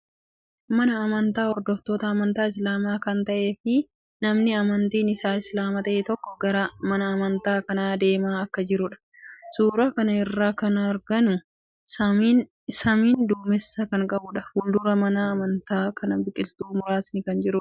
Mana amantaa hordoftoota amantaa Islaamaa kan ta'ee fii namni amantiin isaa Islaama ta'e tokko gara mana amantaa kanaa deemaa akka jiruudha suuraa kana irraa kan arginu. Samiin duumeessa kan qabuudha. Fuuldura mana amantaa kana biqiltuun muraasni kan jiruudha.